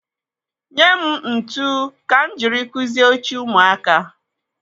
Nye m ntụ ka m jiri kụzie oche ụmụaka.